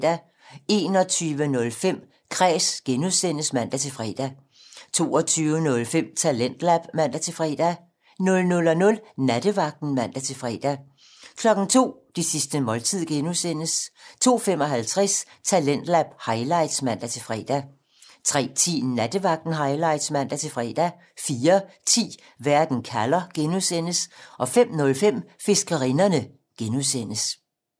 21:05: Kræs (G) (man-fre) 22:05: Talentlab (man-fre) 00:00: Nattevagten (man-fre) 02:00: Det sidste måltid (G) 02:55: Talentlab highlights (man-fre) 03:10: Nattevagten Highlights (man-fre) 04:10: Verden kalder (G) 05:05: Fiskerinderne (G)